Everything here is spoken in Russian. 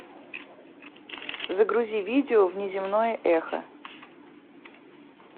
загрузи видео внеземное эхо